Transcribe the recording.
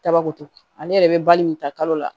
Dabakoto ale yɛrɛ bɛ bali min ta kalo la